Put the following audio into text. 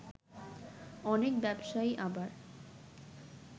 অনেক ব্যবসায়ী আবার